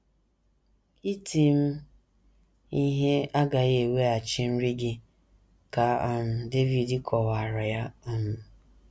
“ Iti m ihe agaghị eweghachi nri gị, ” ka um David kọwaara ya. um